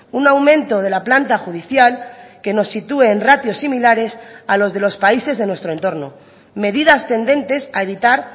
un aumento de la planta judicial que nos sitúe en ratios similares a los de los países de nuestro entorno medidas tendentes a evitar